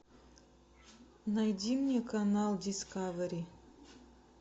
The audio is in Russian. найди мне канал дискавери